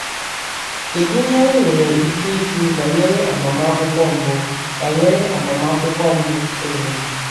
Kedu ihe anyị nwere ike ikwu banyere agbamakwụkwọ mbụ banyere agbamakwụkwọ mbụ Sọlọmọn?